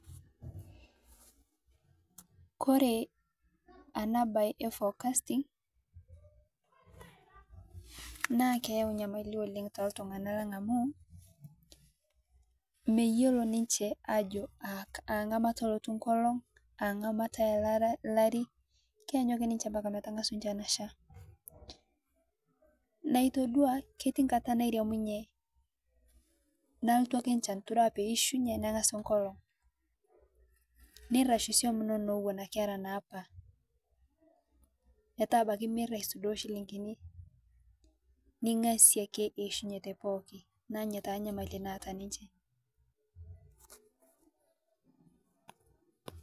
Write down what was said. Kore ana baye e forecasting naa keyau nyamali oleng to ltung'ana laang' amu meiyeloo ninchee ajoo aa ng'amataa ootu, aa ng'amataa araa laarii keianyang'u ake ninchee mbakaa metang'asu nchaan ashaa. Naa itodua ketii ng'ataa nairemunye nalotuu ake echaan itodua pee ishunye neng'asi ake nkolong. Neireshu soum enono ewuen ake era nepaa petaa abaki meeta aisudoo shilingini ning'asie eishunye pooki. Naa enyaa taa nyamali naata ninchee.